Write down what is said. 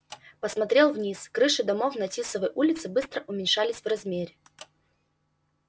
посмотрел вниз крыши домов на тисовой улице быстро уменьшались в размере